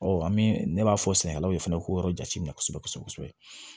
an bɛ ne b'a fɔ sɛnɛkɛlaw ye fɛnɛ ko yɔrɔ jate minɛ kosɛbɛ kosɛbɛ